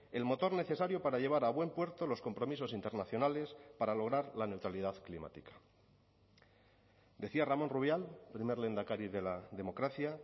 el motor necesario para llevar a buen puerto los compromisos internacionales para lograr la neutralidad climática decía ramón rubial primer lehendakari de la democracia